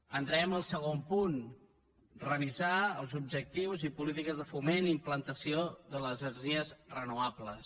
entraré en el segon punt revisar els objectius i polítiques de foment i implantació de les energies renovables